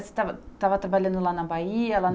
Estava, estava trabalhando lá na Bahia? Lá